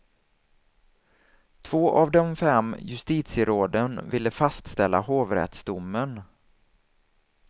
Två av de fem justitieråden ville fastställa hovrättsdomen.